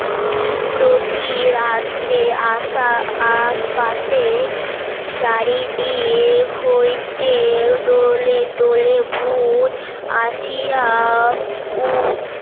প্রতি রাত্রে আসা আশপাশে চারিদিক হইতে দলে দলে ভুত আসিয়া